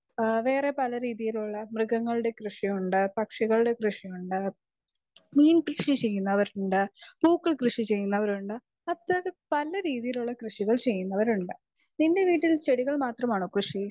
Speaker 2 വേറെ പല രീതികളിലുള്ള മൃഗങ്ങളുടെ കൃഷിയുണ്ട് പക്ഷികളുടെ കൃഷിയുണ്ട് മീൻ കൃഷി ചെയ്യുന്നവരുണ്ട് പൂക്കൾ കൃഷി ചെയ്യുന്നവരുണ്ട് അത്തരത്തിൽ പല രീതിയിലുള്ള കൃഷികൾ ചെയ്യുന്നവരുണ്ട് നിന്റെ വീട്ടിൽ ചെടികൾ മാത്രമാണോ കൃഷി ?